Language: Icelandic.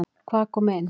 Hvað kom inn?